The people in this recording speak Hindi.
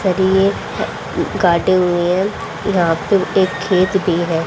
काटे हुए हैं या फिर एक खेत भी है।